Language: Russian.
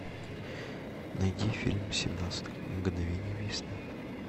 найди фильм семнадцать мгновений весны